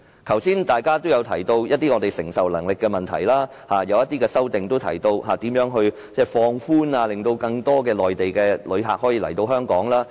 剛才大家也提到承受能力的問題，而有些修正案也提到應如何放寬措施，令更多內地旅客可以來港。